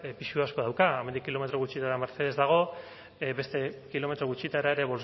pisu asko dauka hemendik kilometro gutxira mercedes dago beste kilometro gutxitara ere